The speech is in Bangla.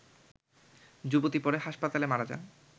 যুবতী পরে হাসপাতালে মারা যান